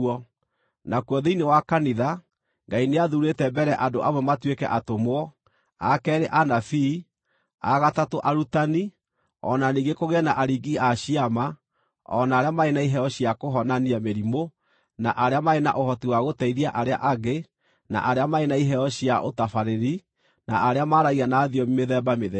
Nakuo thĩinĩ wa kanitha, Ngai nĩathuurĩte mbere andũ amwe matuĩke atũmwo, a keerĩ anabii, a gatatũ arutani, o na ningĩ kũgĩe na aringi a ciama, o na arĩa marĩ na iheo cia kũhonania mĩrimũ, na arĩa marĩ na ũhoti wa gũteithia arĩa angĩ, na arĩa marĩ na iheo cia ũtabarĩri, na arĩa maaragia na thiomi mĩthemba mĩthemba.